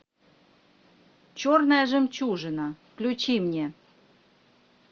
черная жемчужина включи мне